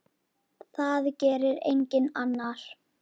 Það gerir enginn annar.